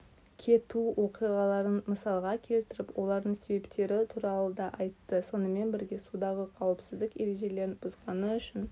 кету оқиғаларын мысалға келтіріп олардың себептері туралыда айтты сонымен бірге судағы қауіпсіздік ережелерін бұзғаны үшін